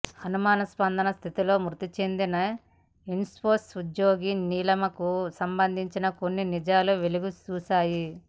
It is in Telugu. అనుమానాస్పద స్థితిలో మృతి చెందిన ఇన్ఫోసిస్ ఉద్యోగి నీలిమకు సంబంధించి కొన్ని నిజాలు వెలుగు చూశాయి